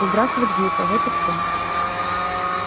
выбрасывать глупо вот и все